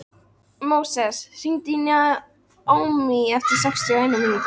Móses, hringdu í Naómí eftir sextíu og eina mínútur.